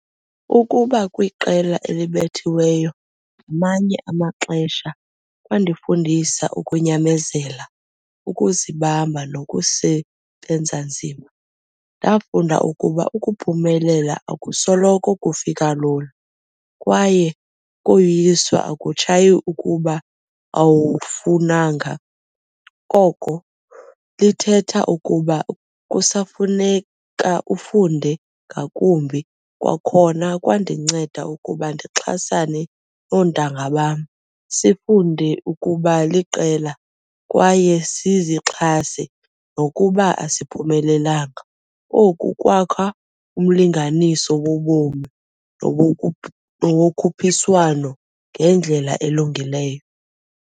Ukuba kwiqela elibethiweyo ngamanye amaxesha kwandifundisa ukunyamezela, ukuzibamba, nokusebenza nzima. Ndafunda ukuba ukuphumelela akusoloko kufika lula kwaye ukoyiswa akutshayi ukuba awufunanga, koko lithetha ukuba kusafuneka ufunde ngakumbi. Kwakhona, kwandinceda ukuba ndixhasane noontanga bam, sifunde ukuba liqela kwaye sizixhase nokuba asiphumelanga. Oku kwakha umlinganiso wobomi nowokhuphiswano ngendlela elungileyo.